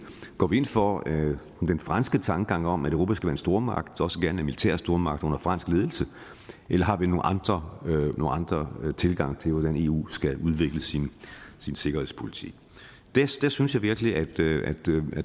går vi ind for den franske tankegang om at europa skal være en stormagt også gerne en militær stormagt under fransk ledelse eller har vi nogle andre tilgange til hvordan eu skal udvikle sin sikkerhedspolitik der synes jeg virkelig at